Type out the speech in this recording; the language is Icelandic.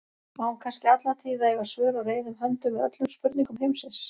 Á hún kannski alla tíð að eiga svör á reiðum höndum við öllum spurningum heimsins?